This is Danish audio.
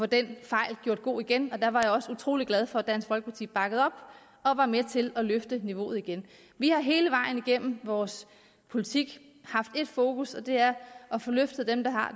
den fejl gjort god igen der var jeg også utrolig glad for at dansk folkeparti bakkede op og var med til at løfte niveauet igen vi har hele vejen igennem vores politik haft ét fokus og det er at få løftet dem der har